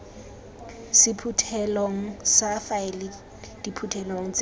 sephuthelong sa faele diphuthelo tse